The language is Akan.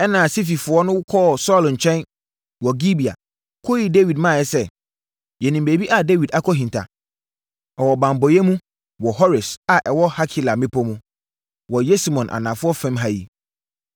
Ɛnna Sififoɔ no kɔɔ Saulo nkyɛn wɔ Gibea kɔyii Dawid maeɛ sɛ, “Yɛnim baabi a Dawid akɔhinta. Ɔwɔ banbɔeɛ mu, wɔ Hores a ɛwɔ Hakila mmepɔ mu, wɔ Yesimon anafoɔ fam ha yi.